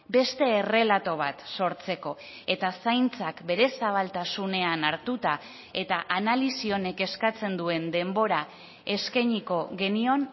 beste errelato bat sortzeko eta zaintzak bere zabaltasunean hartuta eta analisi honek eskatzen duen denbora eskainiko genion